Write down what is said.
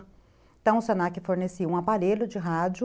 Então o se na que fornecia um aparelho de rádio,